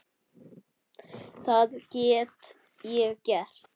Það get ég gert.